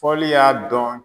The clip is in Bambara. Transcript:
Fɔli y'a dɔn